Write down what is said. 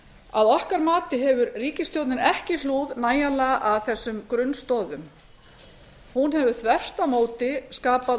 að okkar mati hefur ríkisstjórnin ekki hlúð nægjanlega að þessum grunnstoðum hún hefur þvert á móti skapað